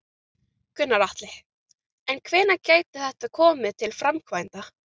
Gunnar Atli: En hvenær gæti þetta komið til framkvæmda?